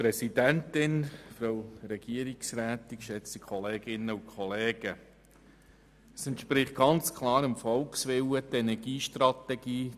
Die Energiestrategie 2050 umzusetzen, entspricht ganz klar dem Volkswillen.